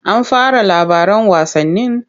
An fara labaran wasannin?